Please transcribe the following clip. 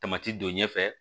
Tamati don ɲɛfɛ